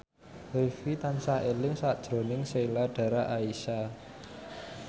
Rifqi tansah eling sakjroning Sheila Dara Aisha